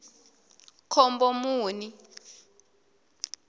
khombomuni